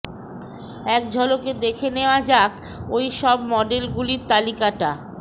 এক ঝলকে দেখে নেওয়া যাক ওই সব মডেলগুলির তালিকটা